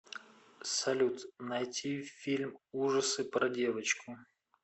салют найти фильм ужасы про девочку